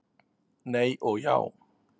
Nei og já!